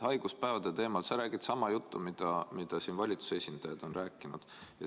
Haiguspäevade teemal sa räägid sama juttu, mida siin valitsuse esindajad on rääkinud.